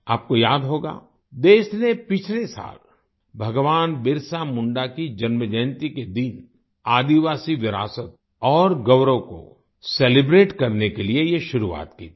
आपको याद होगा देश ने पिछले साल भगवान बिरसा मुंडा की जन्म जयन्ती के दिन आदिवासी विरासत और गौरव को सेलिब्रेट करने के लिए ये शुरुआत की थी